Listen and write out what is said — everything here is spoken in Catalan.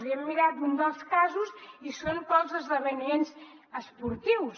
i hem mirat un dels casos i és pels esdeveniments esportius